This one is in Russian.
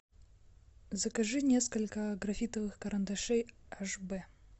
закажи несколько графитовых карандашей аш бэ